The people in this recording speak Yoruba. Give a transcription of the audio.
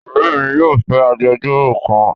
Ore mi yóò fẹ agbejoro kan